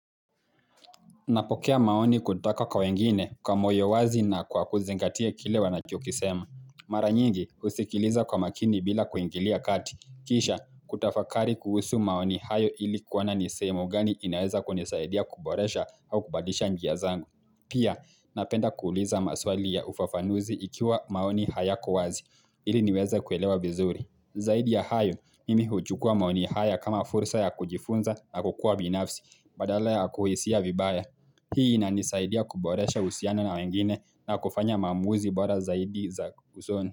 Napokea maoni kutoka kwa wengine kwa moyo wazi na kwa kuzengatia kile wana choki sema. Mara nyingi husikiliza kwa makini bila kuingilia kati. Kisha kutafakari kuhusu maoni hayo ili kuwana ni semo gani inaweza kunisaidia kuboresha au kubadisha njia zangu. Pia napenda kuuliza maswali ya ufafanuzi ikiwa maoni hayako wazi ili niweza kuelewa vizuri. Zaidi ya hayo mi huchukua maoni haya kama fursa ya kujifunza na kukua binafsi badala ya kuhisia vibaya. Hii ina nisaidia kuboresha uhusiano na wengine na kufanya maamuzi bora zaidi za usoni.